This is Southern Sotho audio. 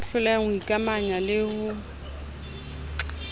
ya hlolehang ho ikamanya le